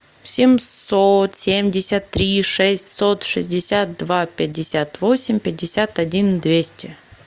семьсот семьдесят три шестьсот шестьдесят два пятьдесят восемь пятьдесят один двести